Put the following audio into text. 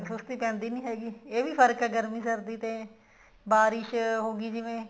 ਸੁਸਤੀ ਪੈਂਦੀ ਨੀ ਹੈਗੀ ਇਹ ਵੀ ਫਰਕ ਹੈ ਗਰਮੀ ਸਰਦੀ ਦਾ ਬਾਰਿਸ਼ ਹੋਗੀ ਜਿਵੇਂ